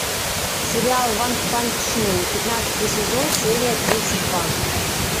сериал ванпанчмен пятнадцатый сезон серия тридцать два